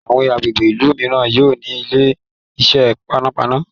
àwọn agbègbè ilú míràn yóò ní Ilé-iṣẹ́ panápaná.